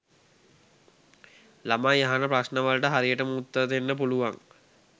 ළමයි අහන ප්‍රශ්න වලට හරියටම උත්තර දෙන්න පුළුවන්